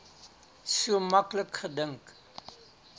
so maklik gedink